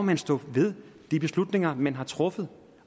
man stå ved de beslutninger man har truffet